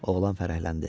Oğlan fərəhləndi.